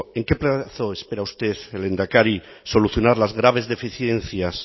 en qué plazo espera usted lehendakari solucionar las graves deficiencias